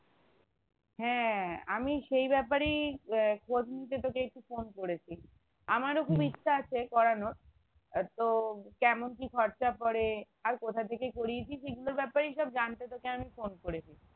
হ্যাঁ আমি সেই ব্যাপারেই আহ খোঁজ নিতে তোকে একটু ফোন করেছি আমারো খুব ইচ্ছা আছে করানোর আহ তো কেমন কি খরচা পরে আর কোথা থেকে করিয়েছিস এগুলোর ব্যাপারেই সব জানতে তোকে আমি ফোন করেছি